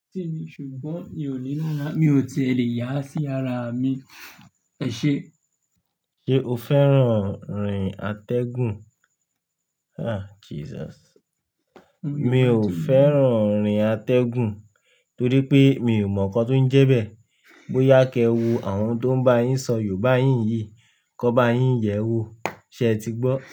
Tí ni, ṣùgbọ́n mi ò ní lára, mi ò ti lè yà á sí ara mi. Ẹṣe? Ṣé o fẹ́ràn rin atẹ́gùn? Ah, Jesus. Mi ò fẹ́ràn orin atẹ́gùn torí pé mi ò mọ nǹkan tó ń jẹ bẹ. Bóyá kẹ wo àwọn tó ń bá yín sọ Yorùbá yín yìí, kó bá yín yẹ̀ ẹ́ wò, ṣé ẹ ti gbọ́?